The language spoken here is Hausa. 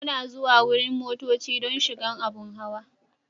Muna zuwan wurin motocci don shigan abun hawa.